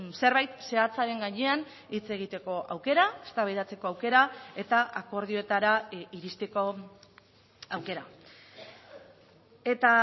zerbait zehatzaren gainean hitz egiteko aukera eztabaidatzeko aukera eta akordioetara iristeko aukera eta